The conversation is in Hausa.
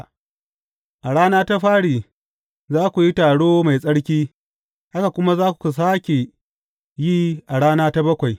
A rana ta fari, za ku yi taro mai tsarki, haka kuma za ku sāke yi a rana ta bakwai.